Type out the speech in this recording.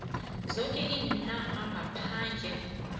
zoke iinarha ngaphandle